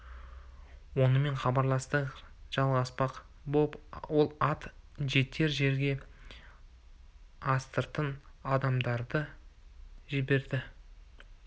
онымен хабарласпақ жалғаспақ боп ол ат жетер жерге астыртын адамдар да жіберді